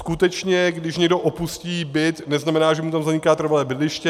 Skutečně když někdo opustí byt, neznamená, že mu tam zaniká trvalé bydliště.